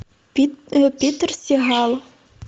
питер сигал